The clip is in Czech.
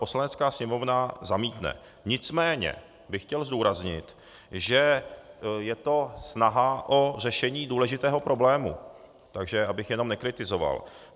Poslanecká sněmovna zamítne, nicméně bych chtěl zdůraznit, že je to snaha o řešení důležitého problému, takže abych jenom nekritizoval.